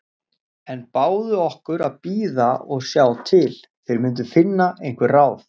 En báðu okkur að bíða og sjá til. þeir myndu finna einhver ráð.